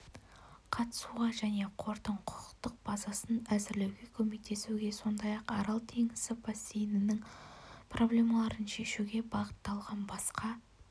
қатысуға және қордың құқықтық базасын әзірлеуге көмектесуге сондай-ақ арал теңізі бассейнінің проблемаларын шешуге бағытталған басқа